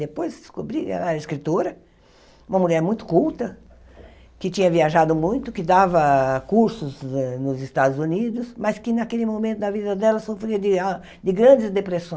Depois descobri que ela era escritora, uma mulher muito culta, que tinha viajado muito, que dava cursos eh nos Estados Unidos, mas que naquele momento da vida dela sofria de ah de grandes